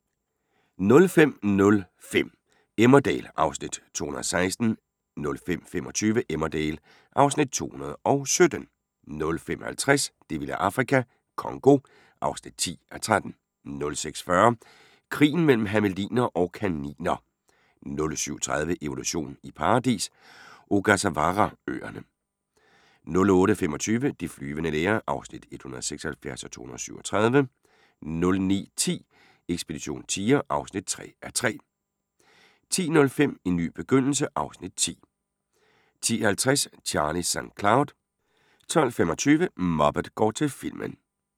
05:05: Emmerdale (Afs. 216) 05:25: Emmerdale (Afs. 217) 05:50: Det vilde Afrika - Congo (10:13) 06:40: Krigen mellem hermeliner og kaniner 07:30: Evolution i paradis – Ogasawara-øerne 08:25: De flyvende læger (176:237) 09:10: Ekspedition tiger (3:3) 10:05: En ny begyndelse (Afs. 10) 10:50: Charlie St. Cloud 12:25: Muppet går til filmen